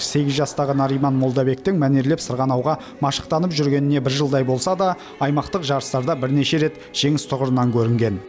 сегіз жастағы нариман молдабектің мәнерлеп сырғанауға машықтанып жүргеніне бір жылдай болса да аймақтық жарыстарда бірнеше рет жеңіс тұғырынан көрінген